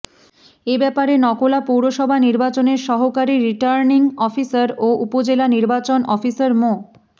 এ ব্যাপারে নকলা পৌরসভা নির্বাচনের সহকারি রিটার্নিং অফিসার ও উপজেলা নির্বাচন অফিসার মো